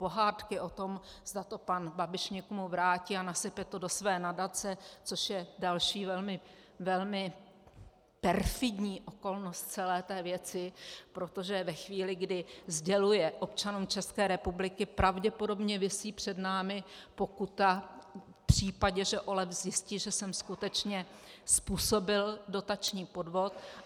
Pohádky o tom, zda to pan Babiš někomu vrátí a nasype to do své nadace, což je další velmi perfidní okolnost celé té věci, protože ve chvíli, kdy sděluje občanům České republiky - pravděpodobně visí před námi pokuta v případě, že OLAF zjistí, že jsem skutečně způsobil dotační podvod.